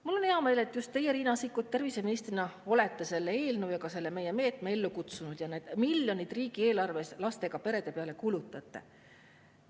Mul on hea meel, et just teie, Riina Sikkut, terviseministrina olete selle eelnõu ja ka selle meie meetme ellu kutsunud ja need miljonid riigieelarvest lastega perede peale kulutate.